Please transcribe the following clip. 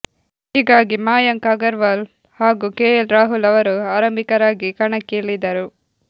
ಹೀಗಾಗಿ ಮಯಾಂಕ್ ಅಗರ್ವಾಲ್ ಹಾಗೂ ಕೆಎಲ್ ರಾಹುಲ್ ಅವರು ಆರಂಭಿಕರಾಗಿ ಕಣಕ್ಕೆ ಇಳಿದರು